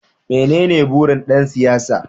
Menene burin ɗan siyasa?